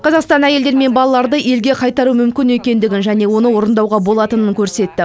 қазақстан әйелдер мен балаларды елге қайтару мүмкін екендігін және оны орындауға болатынын көрсетті